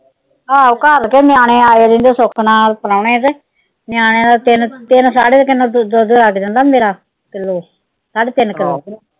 ਆਹੋ ਘਰ ਤੇ ਨਿਆਣੇ ਆਏ ਰਹਿੰਦੇ ਸੁੱਖ ਨਾਲ ਪਰੌਣੇਆਂ ਦੇ, ਨਿਆਣਿਆਂ ਦਾ ਤਿੰਨ, ਤਿੰਨ ਸਾਢੇ ਤਿੰਨ ਕਿਲੋ ਦੁੱਧ ਲੱਗ ਜਾਂਦਾ ਮੇਰਾ ਕਿਲੋ ਸਾਢੇ ਤਿੰਨ ਕਿਲੋ।